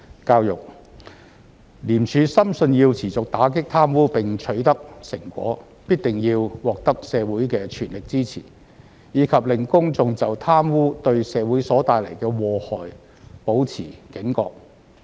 教育廉署深信要持續打擊貪污並取得成果，必定要獲得社會的全力支持，以及令公眾就貪污對社會所帶來的禍害保持警覺。